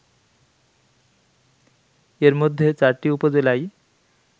এর মধ্যে ৪টি উপজেলায়